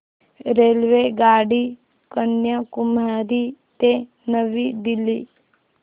रेल्वेगाडी कन्याकुमारी ते नवी दिल्ली